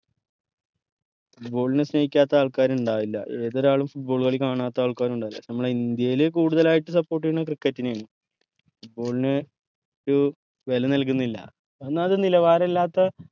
football നെ സ്നേഹിക്കാത്ത ആൾക്കാർ ഇണ്ടാവില്ല ഏതൊരാളും football കളി കാണാത്താൾക്കാരും ഇണ്ടാവില്ല നമ്മുടെ ഇന്ത്യയിൽ കൂടുതൽ ആയിട്ട് support ചെയ്യന്നത് cricket നെ ആണ് football നെ ഒരു വെല നൽകന്നില്ല ഒന്നത് നിലവാരഇല്ലാത്ത